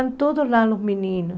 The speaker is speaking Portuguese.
Estão todos lá, os meninos.